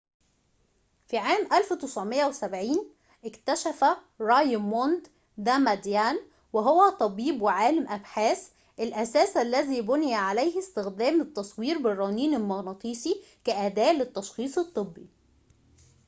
في عام 1970 اكتشف رايموند داماديان وهو طبيب وعالم أبحاث الأساس الذي بُني عليه استخدام التصوير بالرنين المغناطيسي كأداة للتشخيص الطبّي